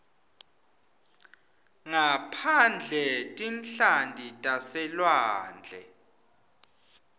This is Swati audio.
ngaphandle tinhlanti taselwandle